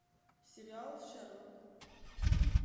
сериал шерлок